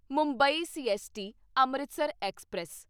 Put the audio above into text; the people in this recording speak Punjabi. Mumbai CST Amritsar express